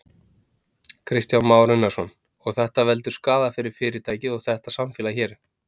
Kristján Már Unnarsson: Og þetta veldur skaða fyrir fyrirtækið og þetta samfélag hér?